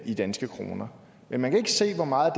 i danske kroner men man kan ikke se hvor meget